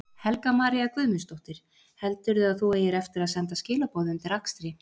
Helga María Guðmundsdóttir: Heldurðu að þú eigir eftir að senda skilaboð undir akstri?